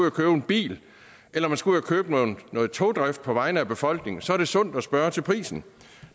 at købe en bil eller man skal ud at købe noget togdrift på vegne af befolkningen så er det sundt at spørge til prisen